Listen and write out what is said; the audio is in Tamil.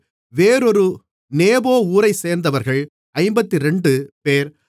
வேறொரு நேபோ ஊரைச்சேர்ந்தவர்கள் 52 பேர்